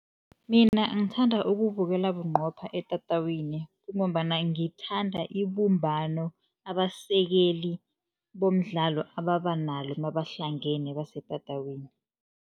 Mina ngithanda ukuwubukela bunqopha etatawini, kungombana ngithanda ibumbano abasekeli bomdlalo ababa nalo nabahlangene basetatawini.